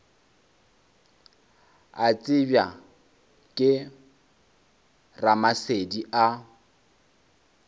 a tsebja ke ramasedi a